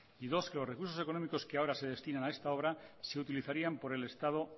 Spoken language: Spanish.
y dos que los recursos económicos que ahora se destinan a esta obra se utilizarían por el estado